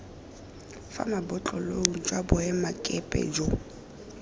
fa mabotlolong kwa boemakepe jo